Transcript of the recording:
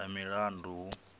ha milandu hu paa ifa